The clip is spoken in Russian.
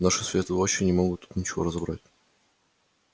наши светлые очи не могут тут ничего разобрать